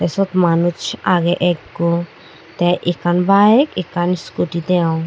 te siot manuj agey ekko te ekkan bayeg ekkan uskuti degong.